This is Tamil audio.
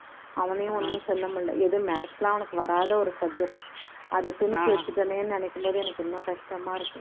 அவனையும் ஒண்ணும் சொல்ல முடியல எது maths லாம் வராத ஒரு subject உ அதை திணிச்சு வச்சுட்டனேன்னு நினைக்கும் போது எனக்கு இன்னும் கஷ்டமா இருக்கு